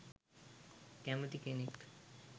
කැමැති කෙනෙක්.